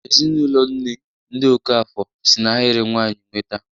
Ezinụlọ agburu nne, ndị Okafor, si n'ahịrị nwanyị nweta.